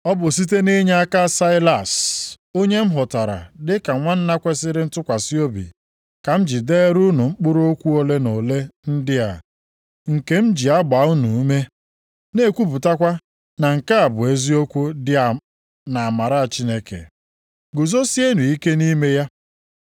Ọ bụ site nʼinyeaka Saịlas onye m hụtara dị ka nwanna kwesiri ntụkwasị obi ka m ji deere unu mkpụrụ okwu ole na ole ndị a nke m ji agbaa unu ume na-ekwupụtakwa na nke a bụ eziokwu dị nʼamara Chineke. Guzosienụ ike nʼime ya.